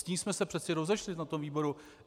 S tím jsme se přece rozešli na tom výboru.